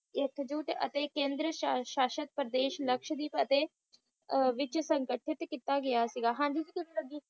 ਇੱਕ ਜੁਟ ਅਤੇ ਕੇਂਦਰ ਸ਼ਾਸਕ ਪ੍ਰਦੇਸ਼ ਲਕਸਹਾਦ੍ਵੀਪ ਅਤੇ ਅਹ ਵਿੱਚ ਸੰਗਠਿਤ ਕੀਤਾ ਗਿਆ ਸੀ ਹਾਂਜੀ ਤੁੱਸੀ